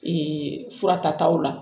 fura tataw la